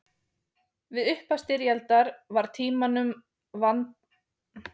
Við upphaf styrjaldar var Tímanum vandara um hlutleysið en oftast áður.